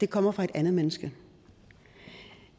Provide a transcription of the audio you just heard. kommer fra et andet menneske